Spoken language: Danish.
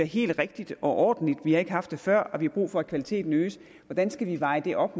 helt rigtigt og ordentligt vi har ikke haft det før og vi har brug for at kvaliteten øges hvordan skal vi veje det op